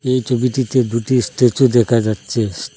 এই ছবিটিতে দুটি স্ট্যাচু দেখা যাচ্ছে।